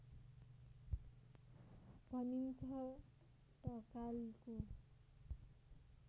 भनिन्छ ढकालको